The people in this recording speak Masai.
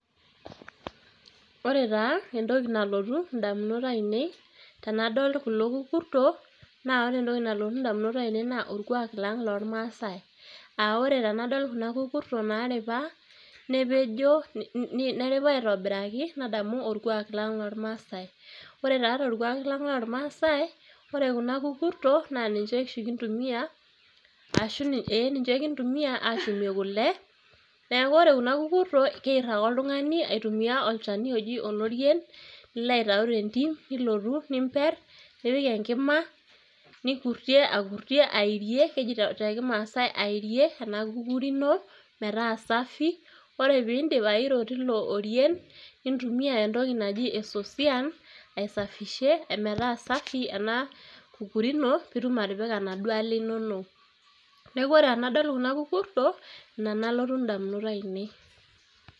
Ore taa entoki nalotu ndamunot ainie tanadol kulo kukurtok na ore entoki nalotu ndamunok aainie na orkuak lang' lormasaai aa ore tanadol kuna kukurtok naripa nepejo, neripa aitobiraki nadamu orkuak lang' lormasaai. ore taa torkuak lang' lormaasai, ore kuna kukurtok na ninche oshi kintumia ee ninche kintumia ashumie kule ,neaku ore kuna kukurtok keir ake oltungani aitumia olchani oji olorien, nilo aitau tentim nilotu nimper nipik enkima, nipirtie aipirtie airrie ,keji te kimaasai airie ena kukuri ino meta safi ore peindip airo tilo orien, nintumia entoki naji esosian aisafishie ometaa safi ena kukuri ino peitum atipika naduo ale inonok ,neaku oreenadol kuna kukurtok ina nalotu ndamunot ainiei.